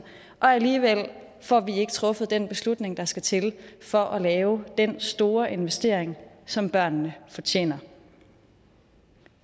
og alligevel får vi ikke truffet den beslutning der skal til for at lave den store investering som børnene fortjener